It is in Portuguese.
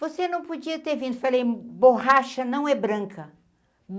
Você não podia ter vindo, falei, borracha não é branca.